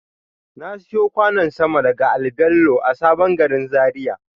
Na siyo kwanon sama daga al-babello a sabon gari Zaria.